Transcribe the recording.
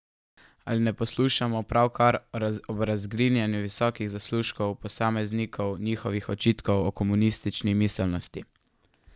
Ali ne poslušamo pravkar ob razgrinjanju visokih zaslužkov posameznikov njihovih očitkov o komunistični miselnosti?